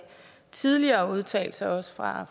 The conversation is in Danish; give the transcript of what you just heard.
tidligere udtalelser også fra